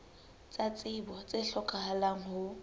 tsa tsebo tse hlokahalang ho